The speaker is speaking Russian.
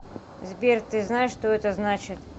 сбер ты знаешь что это значит